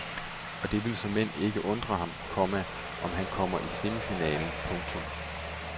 Og det vil såmænd ikke undre ham, komma om han kommer i semifinalen. punktum